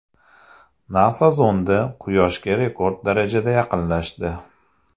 NASA zondi Quyoshga rekord darajada yaqinlashdi.